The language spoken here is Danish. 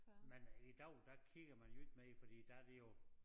Men i dag der kigger man jo ikke mere fordi der det jo